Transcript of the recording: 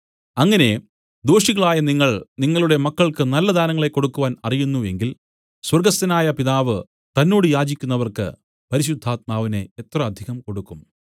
അങ്ങനെ ദോഷികളായ നിങ്ങൾ നിങ്ങളുടെ മക്കൾക്കു നല്ല ദാനങ്ങളെ കൊടുക്കുവാൻ അറിയുന്നു എങ്കിൽ സ്വർഗ്ഗസ്ഥനായ പിതാവ് തന്നോട് യാചിക്കുന്നവർക്കു പരിശുദ്ധാത്മാവിനെ എത്ര അധികം കൊടുക്കും